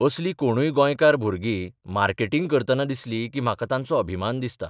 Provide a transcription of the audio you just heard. असलीं कोणूय गोंयकार भुरगी मार्केटिंग करतना दिसली की म्हाका तांचो अभिमान दिसता.